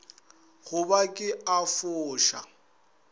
go ba ke a foša